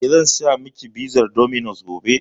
Eh, zan saya miki pizar dominos gobe.